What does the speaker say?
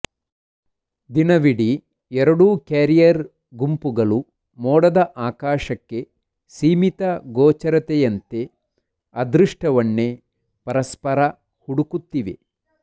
ದಿನವಿಡೀ ಎರಡೂ ಕ್ಯಾರಿಯರ್ ಗುಂಪುಗಳು ಮೋಡದ ಆಕಾಶಕ್ಕೆ ಸೀಮಿತ ಗೋಚರತೆಯಂತೆ ಅದೃಷ್ಟವನ್ನೇ ಪರಸ್ಪರ ಹುಡುಕುತ್ತಿವೆ